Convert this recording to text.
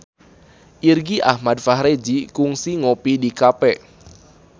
Irgi Ahmad Fahrezi kungsi ngopi di cafe